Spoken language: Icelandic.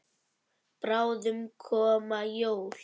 Bráðum koma jól.